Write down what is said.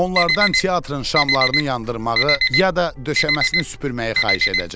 Onlardan teatrın şamlarını yandırmağı ya da döşəməsini süpürməyi xahiş edəcəm.